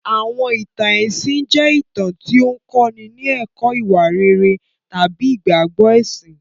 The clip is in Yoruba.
Àwọn ìtàn ẹ̀sìn jẹ́ ìtàn tí ó ń kọ́ni ní ẹ̀kọ́ ìwà rere tàbí ìgbàgbọ́ ẹ̀sìn.